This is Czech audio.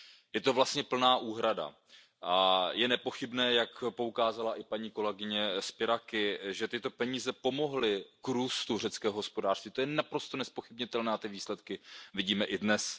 Je to vlastně plná úhrada a je nepochybné, jak poukázala i paní kolegyně Spyraki, že tyto peníze pomohly k růstu řeckého hospodářství, to je naprosto nezpochybnitelné, ty výsledky vidíme i dnes.